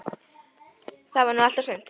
Það var nú allt og sumt.